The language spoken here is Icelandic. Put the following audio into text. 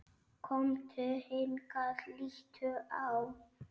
Komdu hingað, líttu á!